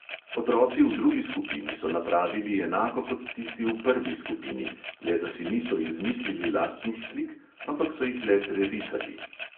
Otroci v drugi skupini so napravili enako kot tisti v prvi skupini, le da si niso izmislili lastnih slik, ampak so jih le prerisali.